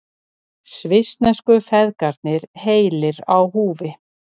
Svissnesku feðgarnir heilir á húfi